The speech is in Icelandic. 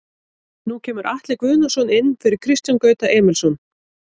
Nú kemur Atli Guðnason inn fyrir Kristján Gauta Emilsson.